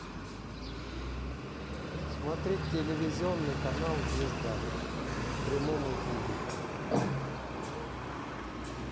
смотреть телевизионный канал звезда в прямом эфире